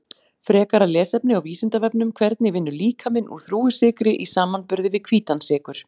Frekara lesefni á Vísindavefnum: Hvernig vinnur líkaminn úr þrúgusykri í samanburði við hvítan sykur?